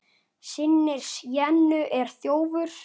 Systir Jennu er þjófur.